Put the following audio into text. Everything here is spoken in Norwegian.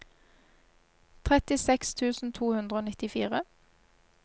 trettiseks tusen to hundre og nittifire